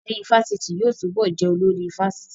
Adarí ifásitì yóò túbọ̀ jẹ́ olórí ifásitì